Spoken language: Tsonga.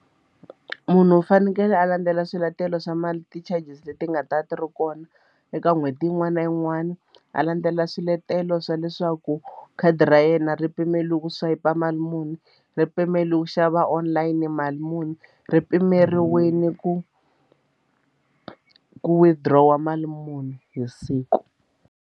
Munhu u fanekele a landzela swiletelo swa mali ti-charges leti nga ta ti ri kona eka n'hweti yin'wana na yin'wana a landzelela swiletelo swa leswaku khadi ra yena ri pimeriwe ku swayipa mali muni ri pimeriwa ku xava online mali muni ri pimeriwile ku ku withdraw mali muni hi siku.